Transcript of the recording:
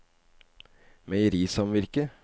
meierisamvirket